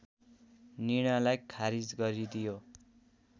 निर्णयलाई खारिज गरिदियो